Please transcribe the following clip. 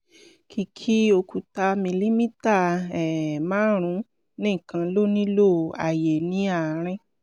kìkì òkúta milimítà um márùn-ún nìkan ló nílò àyè ní àárín